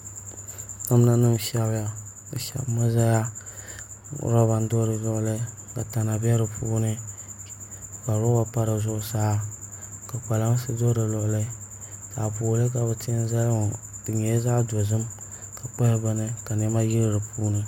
Namda nim n shɛbiya di shɛbimi ʒɛya roba n do di luɣuli ka tana bɛ di puuni ka roba pa di zuɣusaa ka kpalansi do di luɣuli taapooli ka bi tiɛ n zali ŋɔ di nyɛla zaɣ dozim di kpahi bini ka niɛma yili di puuni